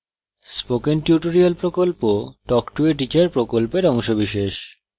spoken tutorial প্রকল্প talk to a teacher প্রকল্পের অংশবিশেষ